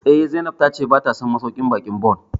Eh, Zainab ta ce ba ta son masauƙin baƙin Bon